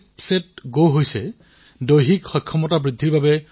এনেকুৱা বহু এপ আছে যিয়ে এই প্ৰত্যাহ্বানটোত বিজয় সিদ্ধ কৰিছে